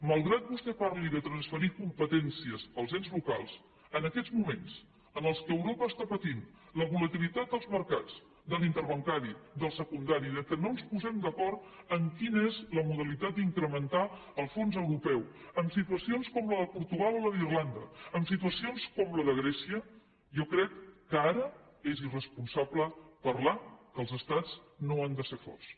malgrat que vostè parli de transferir competències als ens locals en aquests moments en què europa està patint la volatilitat dels mercats de l’interbancari del secundari que no ens posem d’acord en quina és la modalitat d’incrementar el fons europeu amb situacions com la de portugal o la d’irlanda amb situacions com la de grècia jo crec que ara és irresponsable parlar que els estats no han de ser forts